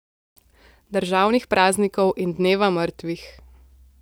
Državnih praznikov in dneva mrtvih.